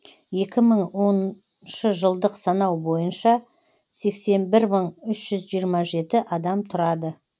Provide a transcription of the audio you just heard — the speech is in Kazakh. екі мың оныншы жылдық санау бойынша сексен бір мың үш жүз жиырма жеті адам тұрады